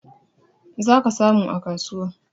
Zaka samu a kasuwa